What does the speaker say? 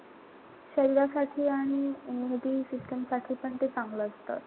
शरीरासाठी आणि immunity system साठी पण ते चांगलं असत.